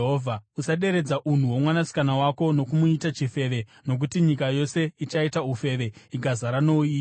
“ ‘Usaderedza unhu hwomwanasikana wako nokumuita chifeve nokuti nyika yose ichaita ufeve ikazara nouipi.